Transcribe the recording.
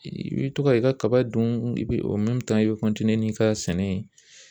I bi to ka i ka kaba dun i bi i bɛ n'i ka sɛnɛ ye.